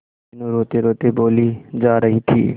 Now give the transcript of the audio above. मीनू रोतेरोते बोली जा रही थी